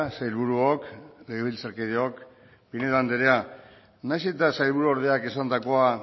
sailburuok legebiltzarkideok pinedo anderea nahiz eta sailburu ordeak esandakoa